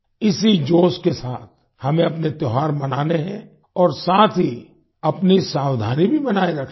इसी जोश के साथ हमें अपने त्योहार मनाने हैं और साथ ही अपनी सावधानी भी बनाए रखनी है